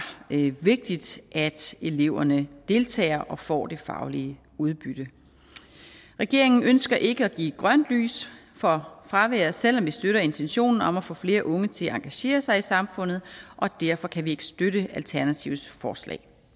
vigtigt at eleverne deltager og får det faglige udbytte regeringen ønsker ikke at give grønt lys for fravær selv om vi støtter intentionen om at få flere unge til at engagere sig i samfundet og derfor kan vi ikke støtte alternativets forslag